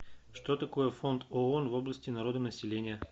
что такое фонд оон в области народонаселения